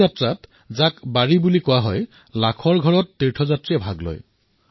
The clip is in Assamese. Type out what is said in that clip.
এই যাত্ৰা যাক ৱাৰী বুলি কোৱা হয় তাত লক্ষাধিক ৱাৰকৰীয়ে অংশগ্ৰহণ কৰে